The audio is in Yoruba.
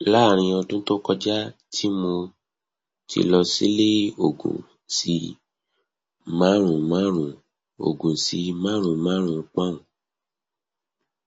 laarin odun to koja ti mo ti lọ silẹ ogun si marunmarun ogun si marunmarun poun